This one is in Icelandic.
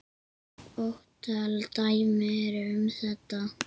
Ótal dæmi eru um þetta.